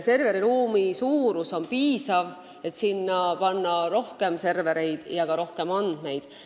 Serveriruumi suurus on piisav, et sinna panna rohkem servereid ja ka rohkem andmeid.